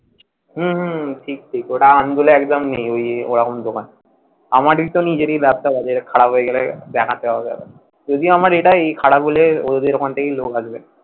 হম ঠিক ঠিক ঠিক ওটা আন্দুলে একদম নেই ওই ওইরকমই দোকান, আমারই ধর নিজেরই Laptop আছে খারাপ হয়ে গেলে দেখাতে হবে যদিও আমার এটা খারাপ হলে অদের ওখান থেকেই লোক আসবে